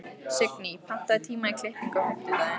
Signý, pantaðu tíma í klippingu á fimmtudaginn.